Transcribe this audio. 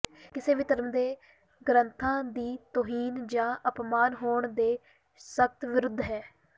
ਕਿਸੇ ਵੀ ਧਰਮ ਦੇ ਗ੍ਰੰਥਾਂ ਦੀ ਤੋਹੀਨ ਜਾਂ ਅਪਮਾਨ ਹੋਣ ਦੇ ਸਖ਼ਤ ਵਿਰੁੱਧ ਹੈ